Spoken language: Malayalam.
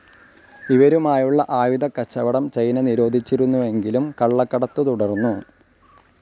ഇവരുമായുള്ള ആയുധക്കച്ചവടം ചൈന നിരോധിച്ചിരുന്നുവെങ്കിലും കള്ളക്കടത്തു തുടർന്നു.